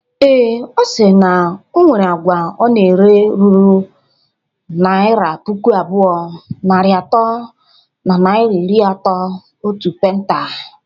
Ee, Ọ sịrị na onwere agwa ọ na-ere ruru naira puku abụọ, narị atọ na naira iri atọ otu penta